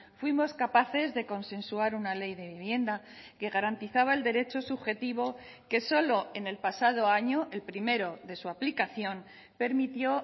fuimos capaces de consensuar una ley de vivienda que garantizaba el derecho subjetivo que solo en el pasado año el primero de su aplicación permitió